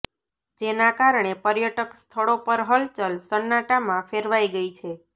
જેના કારણે પર્યટક સ્થળો પર હલચલ સન્નાટામાં ફેરવાઈ ગઈ છે